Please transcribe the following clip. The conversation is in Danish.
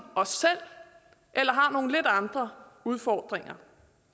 os selv eller har nogle lidt andre udfordringer